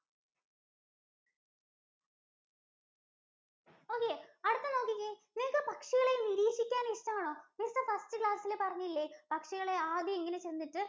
okay. അടുത്ത നോക്കിക്കേ. നിങ്ങൾക്ക് പക്ഷികളെ നിരീക്ഷിക്കാൻ ഇഷ്ടമാണോ? missfirstclass ഇൽ പറഞ്ഞില്ലേ പക്ഷികളെ ആദ്യം ഇങ്ങനെ ചെന്നിട്ട്